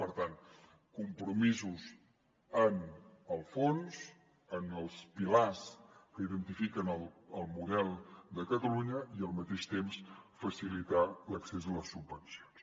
per tant compromisos en el fons en els pilars que identifiquen el model de catalunya i al mateix temps facilitar l’accés a les subvencions